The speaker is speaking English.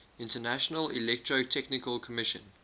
international electrotechnical commission